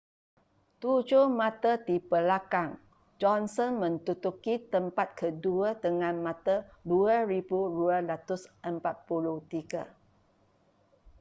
tujuh mata di belakang johnson menduduki tempat kedua dengan mata 2,243